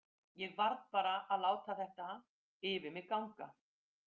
Ég varð bara að láta þetta yfir mig ganga.